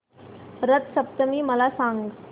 रथ सप्तमी मला सांग